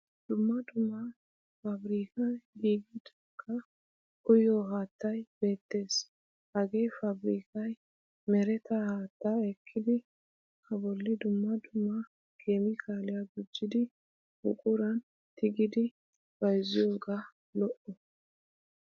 Dumma dumma faabirikkan giigidaagaa uyiyo haattay beettes. Hagee fabrikkay mereta haatta ekkidi a bolli dumma dumma keemiikaaliyaa gujjidi buquran tigidi bayzziyooga lo'o.